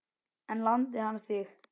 En lamdi hann þig?